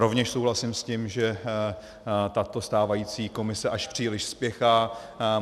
Rovněž souhlasím s tím, že tato stávající Komise až příliš spěchá.